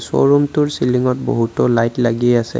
শ্ব'ৰুমটোৰ চিলিংত বহুতো লাইট লাগি আছে।